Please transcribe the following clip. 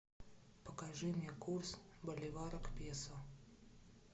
покажи мне курс боливара к песо